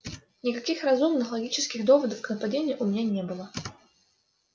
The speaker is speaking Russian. никаких разумных логических доводов к нападению у меня не было